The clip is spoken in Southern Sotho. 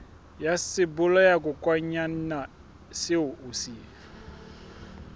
ya sebolayakokwanyana seo o se